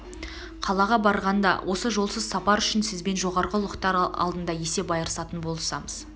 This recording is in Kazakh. қалаға барғанда осы жолсыз сапар үшін сізбен жоғарғы ұлықтар алдында есеп айырысатын боламыз